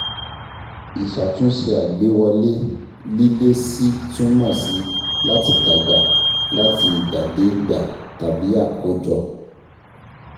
ÌṢÀTÚNṢE ÀGBÉWỌLÉ- LÍLÉSI túmọ̀ sí "láti dàgbà láti ìgbà dé ìgbà" tàbí "àkọ́jọ"